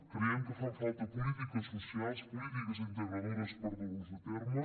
creiem que fan falta polítiques socials polítiques integradores per dur les a terme